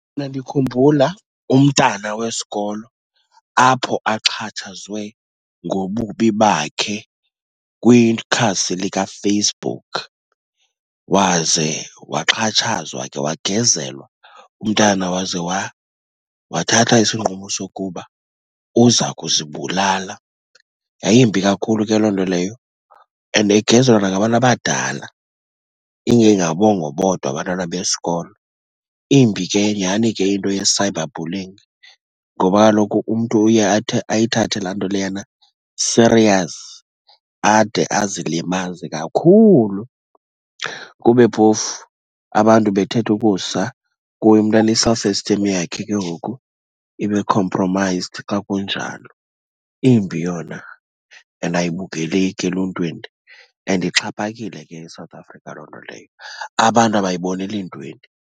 Mna ndikhumbula umntana wesikolo apho axhatshazwe ngobubi bakhe kwikhasi likaFacebook. Waze waxhatshazwa ke wagezelwa umntana waze wathatha isinqumo sokuba uza kuzibulala. Yayimbi kakhulu ke loo nto leyo and egezelwa nangabantu abadala, ingengabongo bodwa abantwana besikolo. Imbi ke nyhani ke into ye-cyberbullying ngoba kaloku umntu uye ayithathe laa nto leyana serious ade azilimaze kakhulu, kube phofu abantu bethetha ukusa kuye mntana i-self esteem yakhe ke ngoku ibe compromised ka kunjalo. Imbi yona and ayibukeleki eluntwini and ixhaphakile ke eSouth Africa loo nto leyo, abantu abayiboneli ntweni.